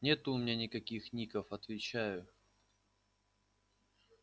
нету у меня никаких ников отвечаю